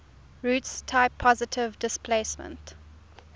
roots type positive displacement